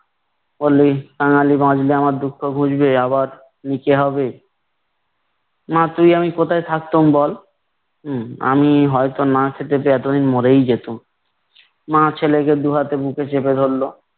বলি কাঙালি বাঁচলে আমার দুঃখ ঘুচবে। আবার ভিটে হবে। মা তুই আমি কোথায় থাকতুম বল। হম আমি হয়তো না খেতে পেয়ে এতদিনে মরেই যেতাম। মা ছেলেকে দু হাতে বুকে চেপে ধরল।